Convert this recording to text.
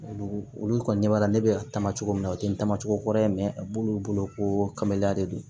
Olu olu kɔni ɲɛ b'a la ne bɛ ka taama cogo min na o tɛ n tamacogo kura ye a b'olu bolo ko kabaliya de don